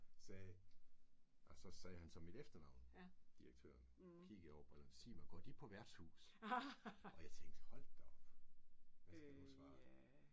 Sagde og så sagde han så mit efternavn direktøren kiggede over på sig mig går de på værtshus? Og jeg tænke hold da op! Hvad skal jeg nu svare?